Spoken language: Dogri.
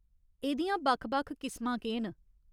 एह्दियां बक्ख बक्ख किसमां केह् न ?